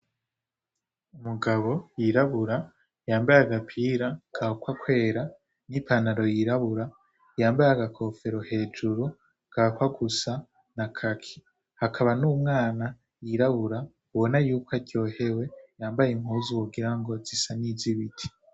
Umugabo yirabura yambaye agapira gahakwa kweru n'ipantaro y'irabura, yambaye agakofero hejuru gahakwa gusa na kaki. Hakaba n'umwana yirabura ubona yuko aryohewe yambaye impuzu wogira ngo zisa n'iz'ibiti.